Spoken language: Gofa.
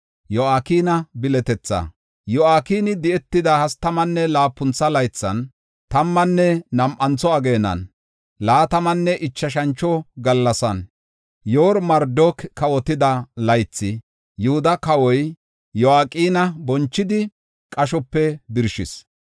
Yo7akini di7etida hastamanne laapuntha laythan, tammanne nam7antho ageenan, laatamanne ichashantho gallasan, Yoor-Marodaaki kawotida laythi Yihuda kawa Yo7akina bonchidi, qashope birshis.